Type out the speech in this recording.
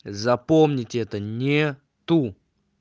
запомните это нет